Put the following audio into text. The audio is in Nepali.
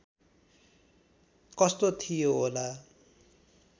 कस्तो थियो होला